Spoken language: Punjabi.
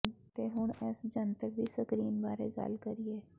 ਦੇ ਹੁਣ ਇਸ ਜੰਤਰ ਦੀ ਸਕਰੀਨ ਬਾਰੇ ਗੱਲ ਕਰੀਏ